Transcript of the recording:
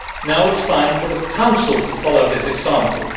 Now it is time for the Council to follow this example.